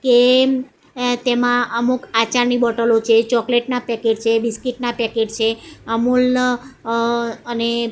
કેમ એ તેમા અમુક આચારની બોટલો છે ચોકલેટ ના પેકેટ છે બિસ્કિટ ના પેકેટ છે અમૂલ અ અને--